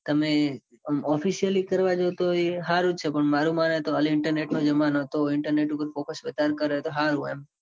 તમે officially કરવા જાઉં તો એ સારું જ છે. પણ મારુ માને તો હાલ internet નો જમાનો છે. તો internet પર focus વધારે કરે તો હારું એમ.